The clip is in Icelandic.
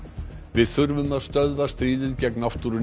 við þurfum að stöðva stríðið gegn náttúrunni